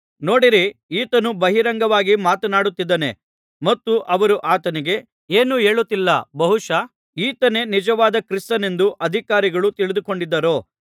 ನೋಡಿರಿ ಈತನು ಬಹಿರಂಗವಾಗಿ ಮಾತನಾಡುತ್ತಿದ್ದಾನೆ ಮತ್ತು ಅವರು ಆತನಿಗೆ ಏನೂ ಹೇಳುತ್ತಿಲ್ಲ ಬಹುಶಃ ಈತನೇ ನಿಜವಾದ ಕ್ರಿಸ್ತನೆಂದು ಅಧಿಕಾರಿಗಳು ತಿಳಿದುಕೊಂಡಿದ್ದಾರೋ